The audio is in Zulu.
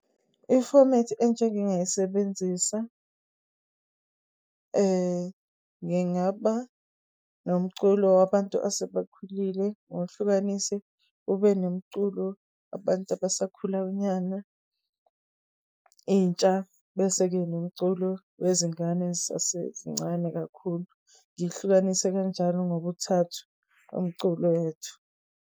Ifomethi entsha engingayisebenzisa, ngingaba nomculo wabantu asebakhulile, ngiwuhlukanise kube nomculo abantu abasakhula nyana, intsha, bese-ke nomculo wezingane ezisasezincane kakhulu. Ngiyihlukanise kanjalo ngokuthathu umculo wethu.